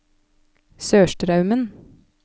Sørstraumen